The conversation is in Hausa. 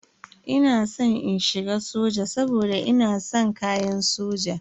Ina san in shiga soja saboda ina san kayan soja.